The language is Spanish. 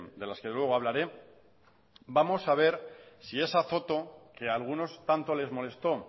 de las que luego hablaré vamos a ver si esa foto que algunos tanto les molestó